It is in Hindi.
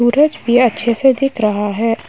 सूरज भी अच्छे से दिख रहा है।